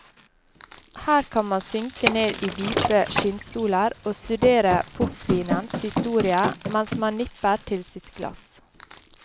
Her kan man synke ned i dype skinnstoler og studere portvinens historie mens man nipper til sitt glass.